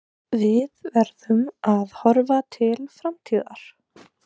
Við verðum að horfa til framtíðar.